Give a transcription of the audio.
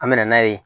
An bɛ na n'a ye